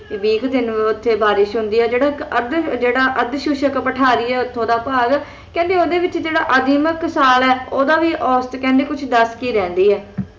ਵੀਹ ਕ ਦਿਨ ਉੱਥੇ ਬਾਰਿਸ਼ ਹੁੰਦੀ ਹੈ ਜਿਹੜਾ ਇੱਕ ਅਰਧ ਅੱਧ ਸ਼ੁਸ਼ਕ ਪਠਾਰੀ ਹੈ ਉੱਥੋਂ ਦਾ ਭਾਗ ਕਹਿੰਦੀ ਓਹਦੇ ਵਿੱਚ ਜਿਹੜਾ ਅਧਿਮਕ ਸਾਲ ਹੈ ਓਹਦਾ ਵੀ ਔਸਤ ਕਹਿੰਦੀ ਦਸ ਕਿ ਹੀ ਰਹਿੰਦੀ ਹੈ